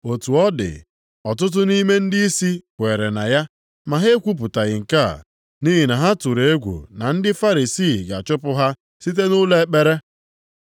Otu ọ dị, ọtụtụ nʼime ndịisi kweere na ya, ma ha ekwupụtaghị nke a. Nʼihi na ha tụrụ egwu na ndị Farisii ga-achụpụ ha site nʼụlọ ekpere.